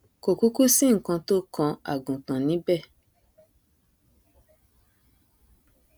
kò kúkú sí nkan tó kan àgùntàn níbẹ